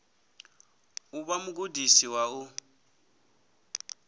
u vha mugudisi wa u